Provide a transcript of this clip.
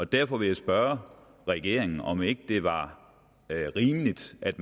derfor vil jeg spørge regeringen om det ikke var rimeligt at